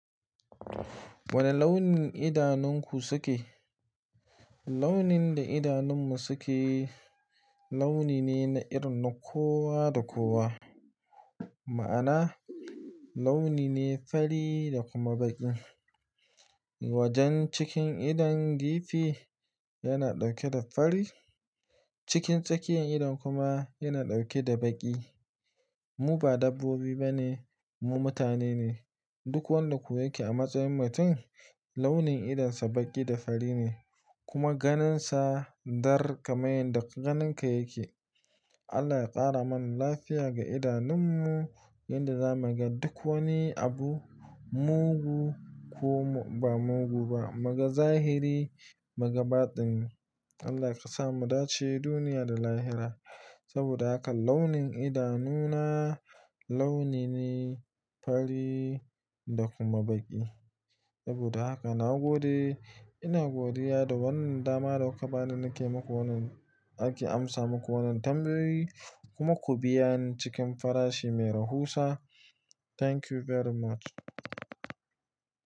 Wane launin idanunku suke? Launin da idanunmu suke launi ne na irin na kowa da kowa. Ma'ana launi ne fari da kuma baƙi. Wajen cikin idon gefe yana ɗauke da fari, cikin tsakiyar idon kuma yana ɗauke da baƙi. Mu ba dabbobi ba ne, mu mutane ne. Duk wanda kuwa yake a matsayin mutum launin idonsa baƙi da fari ne kuma ganinsa dar kamar yadda ganinka yake. Allah ya ƙara mana lafiya ga idanunmu yanda zamuga duk wani abu mugu ko ba mugu ba, mu ga zahiri mu ga baɗin. Allah ya kasamu dace duniya da lahira. Saboda haka launin idanuna launi ne fari da kuma baƙi. Saboda haka na gode, ina godiya da wannan dama da kuka bani nake muku wannan ake amsa muku wannan tambayi kuma ku biya ni cikin farashi mai rahusa. Thank you very much.